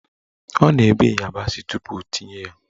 Ọ na-ebe ịyabasị tupu o tinye ya